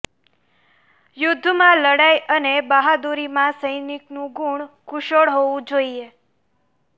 યુદ્ધમાં લડાઈ અને બહાદુરીમાં સૈનિકનું ગુણ કુશળ હોવું જોઈએ